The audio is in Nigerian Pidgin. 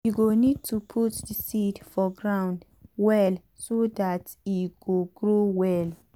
u go need to put the seed for ground well so dat e go grow well.